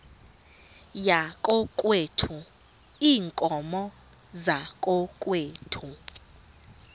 yakokwethu iinkomo zakokwethu